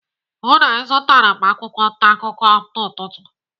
Hụụ na ịzụtara m akwụkwọ ntaakụkọ n'ụtụtụ.